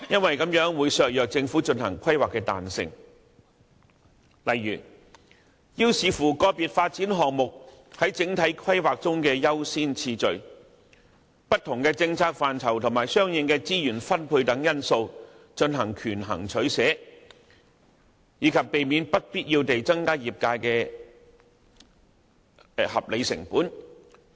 此舉會削弱政府規劃的彈性，未能因應個別發展項目在整體規劃中的優先次序，不同的政策範疇和相應的資源分配等因素進行權衡取捨，亦增加業界不必要的合理成本。